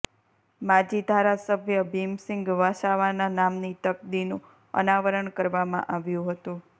માજી ધારાસભ્ય ભીમસિંગ વસાવાના નામની તકદીનું અનાવરણ કરવામાં આવ્યું હતું